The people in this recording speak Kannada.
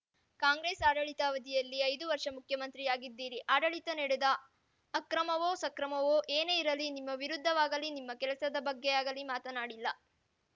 ಕಾಂಗ್ರೆಸ್‌ ಆಡಳಿತಾವಧಿಯಲ್ಲಿ ಐದು ವರ್ಷ ಮುಖ್ಯಮಂತ್ರಿಯಾಗಿದ್ದಿರಿ ಆಡಳಿತದಲ್ಲಿ ನಡೆದ ಅಕ್ರಮವೋಸಕ್ರಮವೋ ಯೇನೇ ಇರಲಿ ನಿಮ್ಮ ವಿರುದ್ಧವಾಗಲಿ ನಿಮ್ಮ ಕೆಲಸದ ಬಗ್ಗೆ ಮಾತನಾಡಿಲ್ಲ